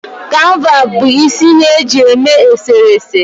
Kanva bụ isi ihe eji eme eserese